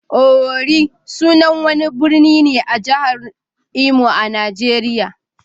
Owerri sunan wani birni ne a jihar Imo a Najeriya.